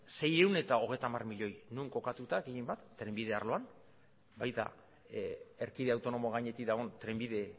seiehun eta hogeita hamar milioi non kokatuta gehien bat trenbide arloan baita erkide autonomo gainetik dagoen trenbide